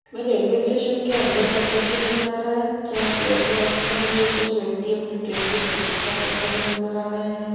में railway station के अंदर का दृश्य नजर आ रहा है जहाँ प्लेटफार्म पर कुछ व्यक्ति अपनी ट्रेन की प्रतीक्षा करते हुए नजर आ रहें हैं।